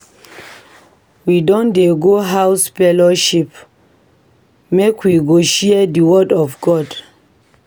We don dey go House fellowship make we go share di word of God.